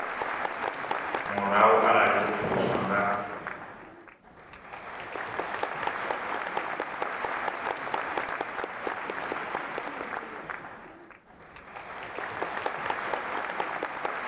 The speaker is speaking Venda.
murahu arali vho pfuluswa nga